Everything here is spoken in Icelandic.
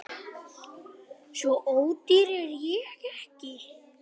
Svo ódýr er ég ekki